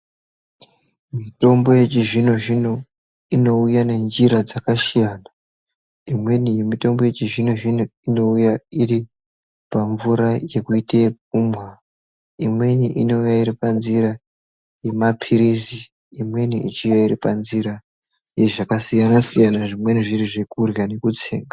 Mitombo yechizvino zvino unouya nenjira dzakasiyana imweni mitombo yechizvino zvino inouya iri pamvura yekuite ekumwa imweni unouya iri panzira yemapirizi imweni ichiuya iri panzira yezvakasiyana siyana zvimweni zviri zvekurywa nekutsenga.